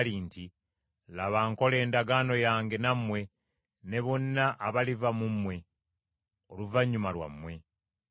nti, “Laba nkola endagaano yange nammwe ne bonna abaliva mu mmwe oluvannyuma lwammwe,